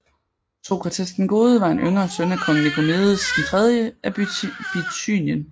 Sokrates den Gode var en yngre søn af kong Nikomedes III af Bithynien